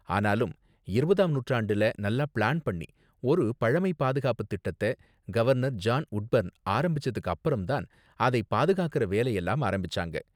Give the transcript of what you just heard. ஆனாலும், இருபதாம் நூற்றாண்டுல நல்லா பிளான் பண்ணி ஒரு பழமை பாதுகாப்பு திட்டத்த கவர்னர் ஜான் வுட்பர்ன் ஆரம்பிச்சதுக்கு அப்பறம் தான் அதை பாதுகாக்கற வேலையெல்லாம் ஆரம்பிச்சாங்க.